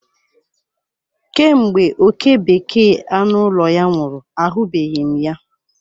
Kemgbe oke bekee anụ ụlọ ya nwụrụ, ahụbeghị m ya.